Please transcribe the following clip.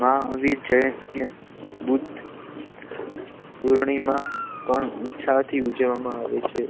મહાવીર જયંતિ બુદ્ધ પૂર્ણિમા પણ ઉત્સવ થી ઉજવવામાં આવે છે